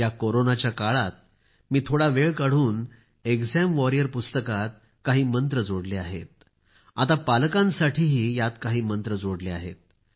या कोरोनाच्या काळात मी थोडा वेळ काढून एक्झाम वॉरियर पुस्तकात काही मंत्र जोडले आहेत आता पालकांसाठीही यात काही मंत्र जोडले आहेत